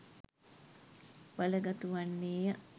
බලගතු වන්නේය.